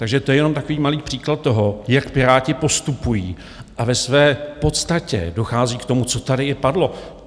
Takže to je jenom takový malý příklad toho, jak Piráti postupují, a ve své podstatě dochází k tomu, co tady i padlo.